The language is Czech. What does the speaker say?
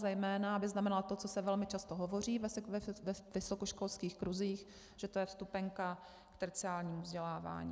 Zejména aby znamenala to, co se velmi často hovoří ve vysokoškolských kruzích, že to je vstupenka k terciárnímu vzdělávání.